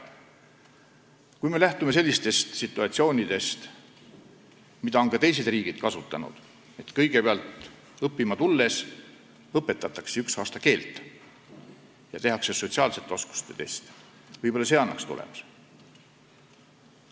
Kui me teeksime seda, mida on ka teised riigid kasutanud, et pärast õppima tulekut õpetatakse inimestele kõigepealt üks aasta keelt ja tehakse sotsiaalsete oskuste test, siis see võib-olla annaks tulemusi.